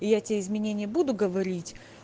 я тебе изменения буду говорить